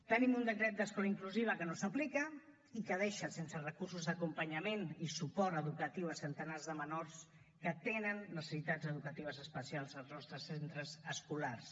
tenim un decret d’escola inclusiva que no s’aplica i que deixa sense recursos d’acompanyament i suport educatiu centenars de menors que tenen necessitats educatives especials als nostres centres escolars